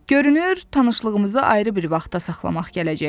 Görünür tanışlığımızı ayrı bir vaxta saxlamaq gələcək.